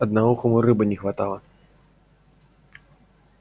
одноухому рыбы не хватило